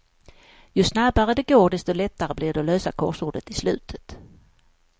Ju snabbare det går desto lättare blir det att lösa korsordet i slutet.